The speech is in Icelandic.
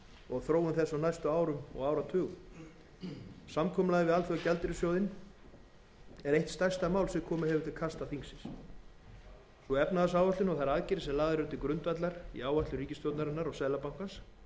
og á þróun þess á næstu árum og áratugum samkomulagið við alþjóðagjaldeyrissjóðinn er eitt stærsta mál sem komið hefur til kasta þingsins sú efnahagsáætlun og þær aðgerðir sem lagðar eru til grundvallar í áætlun ríkisstjórnarinnar og seðlabankans hafa nú